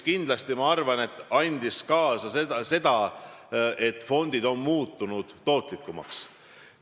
Kindlasti aitas see kaasa, et fondid on muutunud tootlikumaks.